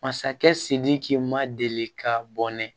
Masakɛ sidiki ma deli ka bɔnɛ